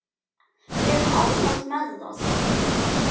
Við erum ánægð með það.